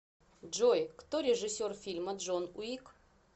джой кто режиссер фильма джон уик